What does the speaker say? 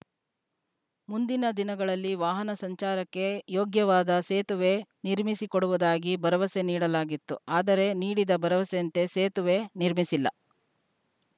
ಮುಂದಿನ ದಿನಗಳಲ್ಲಿ ವಾಹನ ಸಂಚಾರಕ್ಕೆ ಯೋಗ್ಯವಾದ ಸೇತುವೆ ನಿರ್ಮಿಸಿಕೊಡುವುದಾಗಿ ಭರವಸೆ ನೀಡಲಾಗಿತ್ತು ಆದರೆ ನೀಡಿದ ಭರವಸೆಯಂತೆ ಸೇತುವೆ ನಿರ್ಮಿಸಿಲ್ಲ